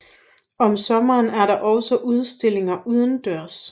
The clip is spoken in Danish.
Om sommeren er der også udstillinger udendørs